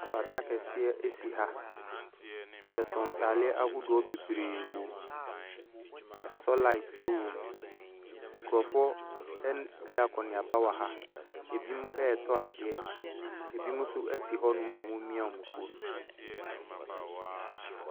Apata kɛseɛ esi ha. Yɛtɔn ntaleɛ ahodoɔ bebree wɔ mu. Yasɔ laet ɛwɔ mu. Nkorɔfoɔ edi akɔneaba wɔ ha. Ebimo ɛtɔ adeɛ. Ebimo nso ɛte hɔ no mo a ɔmo mia ɔmo fon.